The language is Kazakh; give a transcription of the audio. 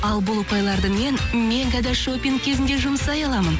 ал бұл ұпайларды мен мегада шопинг кезінде жұмсай аламын